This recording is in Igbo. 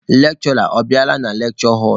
Lekshụra ọ bịala na lekshure họlụ?